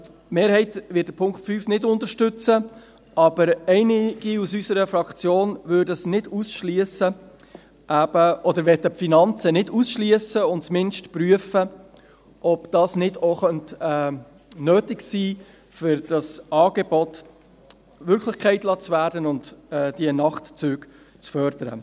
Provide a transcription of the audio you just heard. – Die Mehrheit wird den Punkt 5 nicht unterstützen, aber einige aus unserer Fraktion möchten die Finanzen nicht ausschliessen und zumindest prüfen, ob dies nicht auch nötig sein könnte, um das Angebot Wirklichkeit werden zu lassen und die Nachtzüge zu fördern.